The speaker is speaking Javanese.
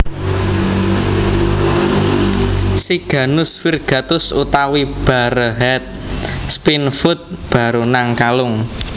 Siganus Virgatus utawi Barehead Spinefoot baronang kalung